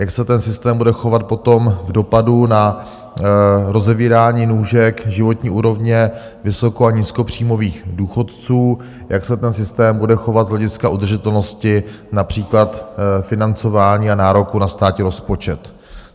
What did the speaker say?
Jak se ten systém bude chovat potom v dopadu na rozevírání nůžek, životní úrovně vysoko- a nízkopříjmových důchodců, jak se ten systém bude chovat z hlediska udržitelnosti například financování a nároku na státní rozpočet.